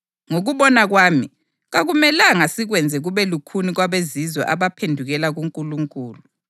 Ngokubona kwami, kakumelanga sikwenze kube lukhuni kwabeZizwe abaphendukela kuNkulunkulu.